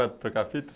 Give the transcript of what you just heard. trocar a fita?